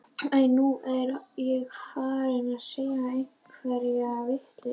Æi, nú er ég farin að segja einhverja vitleysu.